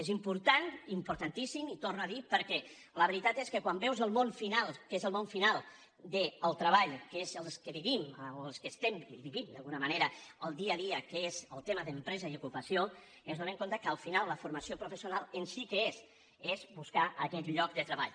és important importantíssim i ho torno a dir perquè la veritat és que quan veus el món final que és el món final del treball que és els que vivim o els que estem i vivim d’alguna manera el dia a dia que és el tema d’empresa i ocupació ens adonem que al final la formació professional en si què és és buscar aquest lloc de treball